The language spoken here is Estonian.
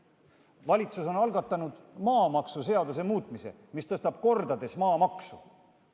Valitsus on algatanud ka maamaksuseaduse muutmise, millega tõstetakse maamaksu kordades.